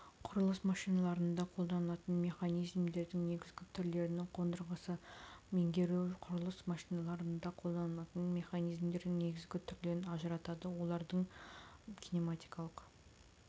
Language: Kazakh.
құрылыс машиналарында қолданылатын механизмдердің негізгі түрлерінің қондырғысын меңгеру құрылыс машиналарында қолданылатын механизмдердің негізгі түрлерін ажыратады одардың кинематикалық